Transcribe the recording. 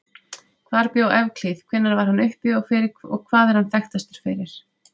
Hvar bjó Evklíð, hvenær var hann uppi og hvað er hann þekktastur fyrir?